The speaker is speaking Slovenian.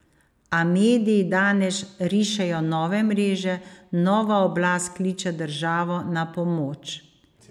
A mediji danes rišejo nove mreže, nova oblast kliče državo na pomoč.